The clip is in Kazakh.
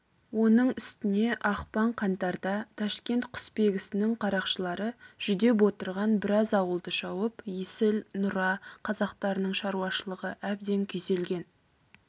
оның үстіне ақпан қаңтарда ташкент құсбегісінің қарақшылары жүдеп отырған біраз ауылды шауып есіл нұра қазақтарының шаруашылығы әбден күйзелген